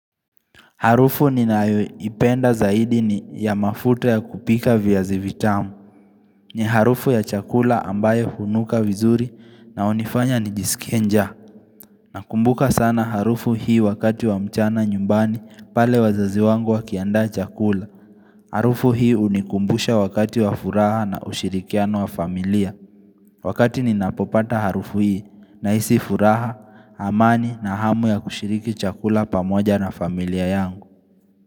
Harufu ninayoipenda zaidi ni ya mafuta ya kupika via zivitamu. Ni harufu ya chakula ambayo hunuka vizuri na unifanya ni jisikie nja. Nakumbuka sana harufu hii wakati wa mchana nyumbani pale wazazi wangu wa kiaanda chakula. Harufu hii unikumbusha wakati wa furaha na ushirikiano wa familia. Wakati ninapopata harufu hii nahisi furaha, amani na hamu ya kushiriki chakula pamoja na familia yangu.